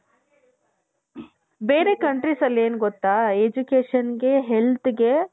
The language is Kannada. ಬೇರೆ countriesಸಲ್ಲಿ ಏನ್ ಗೊತ್ತಾ educationಗೆ healthಗೆ